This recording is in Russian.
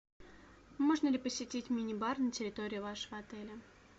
можно ли посетить мини бар на территории вашего отеля